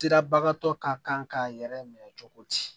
Sirabagatɔ ka kan k'a yɛrɛ minɛ cogo di